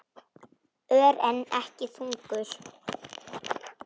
Ör, en ekki þungur.